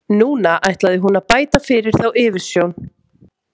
Núna ætlaði hún að bæta fyrir þá yfirsjón.